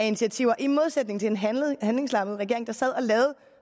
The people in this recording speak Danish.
initiativer i modsætning til en handlingslammet regering der sad og lavede